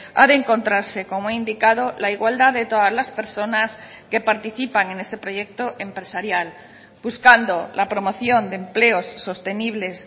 ha de encontrarse como he indicado la igualdad de todas las personas que participan en ese proyecto empresarial buscando la promoción de empleos sostenibles